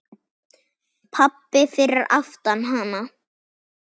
Pabbi fyrir aftan hana: